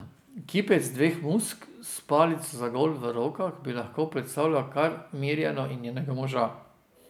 Kipec dveh muck, s palico za golf v rokah, bi lahko predstavljal kar Mirjano in njenega moža.